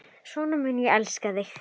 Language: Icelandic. Svona mun ég elska þig.